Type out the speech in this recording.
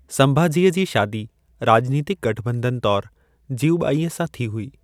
संभाजीअ जी शादी राॼनीतिक गठॿंधन तौरु जीवुबाईअ सां थी हुई।